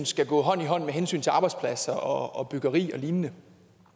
skal gå hånd i hånd med hensyn til arbejdspladser og byggeri og lignende